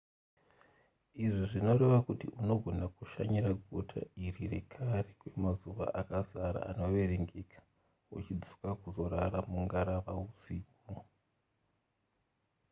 izvi zvinoreva kuti unogona kushanyira guta iri rekare kwemazuva akazara anoverengeka uchidzoka kuzorara mungarava husiku